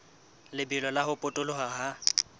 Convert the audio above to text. lebelo la ho potoloha ha